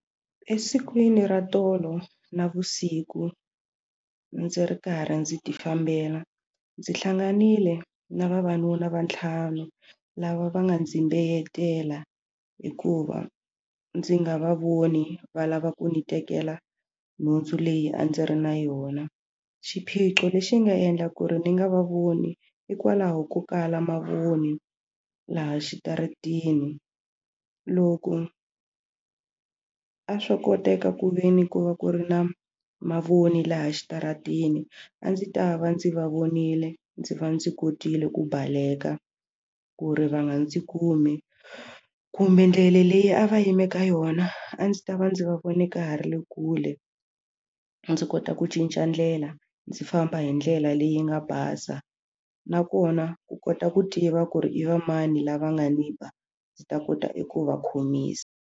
Esikwini ra tolo navusiku ndzi ri karhi ndzi ti fambela ndzi hlanganile na vavanuna va ntlhanu lava va nga ndzi mbeyetela hikuva ndzi nga va voni va lava ku ni tekela nhundzu leyi a ndzi ri na yona xiphiqo lexi nga endla ku ri ni nga va voni hikwalaho ko kala mavoni laha xitaratini loku a swo koteka ku veni ku va ku ri na mavoni laha exitarateni a ndzi ta va ndzi va vonile ndzi va ndzi kotile ku baleka ku ri va nga ndzi kumi kumbe ndlela leyi a va yimeke yona a ndzi ta va ndzi va voni ka ha ri le kule ndzi kota ku cinca ndlela ndzi famba hi ndlela leyi nga basa nakona ku kota ku tiva ku ri i va mani lava nga ni ba ndzi ta kota i ku va khomisa.